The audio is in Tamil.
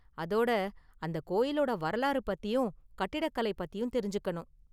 அதோட அந்த கோயிலோட வரலாறு பத்தியும் கட்டிடக்கலை பத்தியும் தெரிஞ்சுக்கனும்.